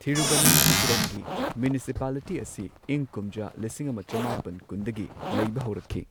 ꯊꯤꯔꯨꯕꯅꯟꯊꯥꯄꯨꯔꯝꯒꯤ municipality ꯑꯁꯤ ꯏꯪ ꯀꯨꯝꯖꯥ ꯂꯤꯁꯤꯡ ꯑꯃ ꯆꯃꯥꯄꯟ ꯀꯨꯟꯗꯒꯤ ꯂꯩꯕ ꯍꯧꯔꯛꯈꯤ꯫